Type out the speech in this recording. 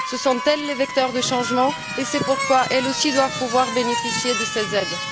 Ce sont elles les vecteurs du changement et c'est pourquoi elles aussi doivent pouvoir bénéficier de ces aides.